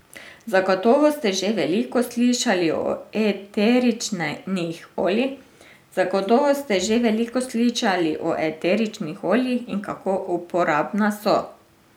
Zagotovo ste že veliko slišali o eteričnih oljih in kako uporabna so.